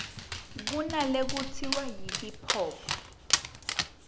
kunalekutsiwa yi hip hop